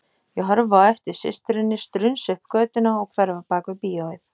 Ég horfi á eftir systurinni strunsa upp götuna og hverfa bak við bíóið.